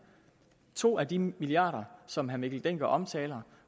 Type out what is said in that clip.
to af de milliarder som herre mikkel dencker omtaler